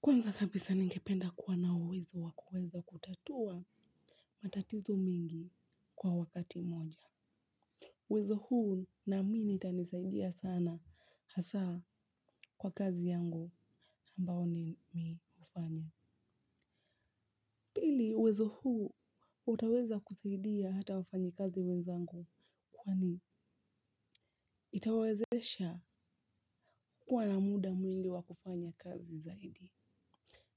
Kwanza kabisa ningependa kuwa na uwezo wa kuweza kutatua matatizo mengi kwa wakati moja. Uwezo huu naamini itanisaidia sana hasa kwa kazi yangu ambao ni mi hufanya. Pili uwezo huu utaweza kusaidia hata wafanyikazi wenzangu kwa ni itawezesha kuwa na muda mwingi wa kufanya kazi zaidi.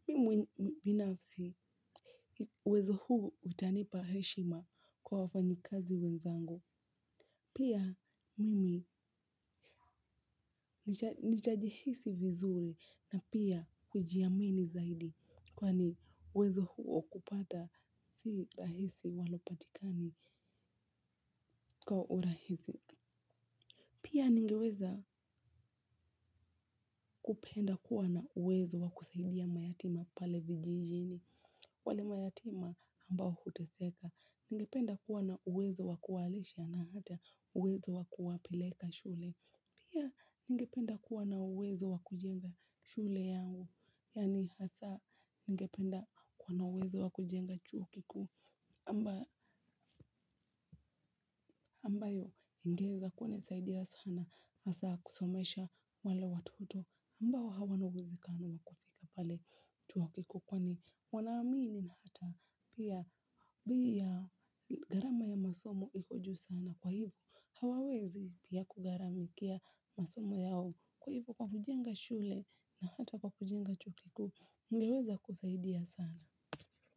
Ni pa heshima, kwa wafanyikazi wenzangu. Pia mimi nitajihisi vizuri na pia kujiamini zaidi kwani uwezo huo kupata si rahisi haupatikani kwa urahisi. Pia ningeweza kupenda kuwa na uwezo wa kusaidia mayatima pale vijijini. Wale mayatima ambao huteseka. Ningependa kuwa na uwezo wakuwalisha na hata uwezo wa kuwapeleka shule. Pia ningependa kuwa na uwezo wa kujenga shule yao. Yaani hasa ningependa kuwa na uwezo wa kujenga chuo kikuu amba ambayo ingeweza kunisaidia sana. Hasa kusomesha wale watoto ambao hawana uwezekano wa kufika pale chuo kikuu. Kwani wanaamini hata pia bei ya gharama ya masomo iko juu sana. Kwa hivyo hawawezi pia kugharamikia masomo yao kwa hivyo kwa kujenga shule na hata kwa kujenga chuo kikuu kungeweza kusaidia sana.